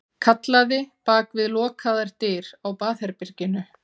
Kallaði bak við lokaðar dyr á baðherberginu.